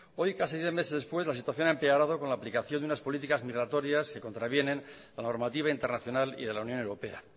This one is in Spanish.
hoy casi diez meses después la situación ha empeorado con la aplicación de unas políticas migratorias que contravienen la normativa internacional y de la unión europea